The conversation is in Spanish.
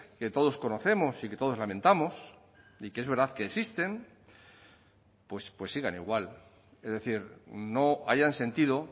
que todos conocemos y que todos lamentamos y que es verdad que existen pues sigan igual es decir no hayan sentido